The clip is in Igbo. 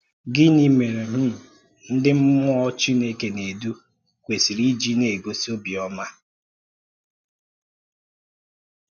Gịnị́ mèré um ndị mmụọ̀ Chineke na-edu kwesìrì iji na-egosi obiọ́mà